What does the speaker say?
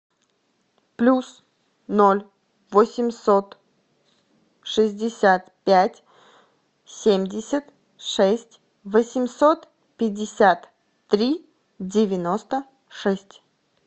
плюс ноль восемьсот шестьдесят пять семьдесят шесть восемьсот пятьдесят три девяносто шесть